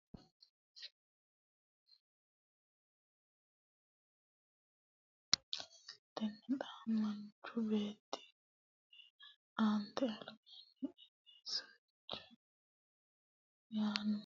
qola dawaro mote Xa Xa mote dawaro qola hoogihu daga yiihu gedensaanni xa maanchu miteekke aate albaanni Agi soicho yaanno !